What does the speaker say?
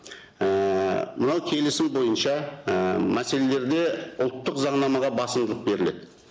ііі мынау келісім бойынша і мәселелерде ұлттық заңнамаға басымдылық беріледі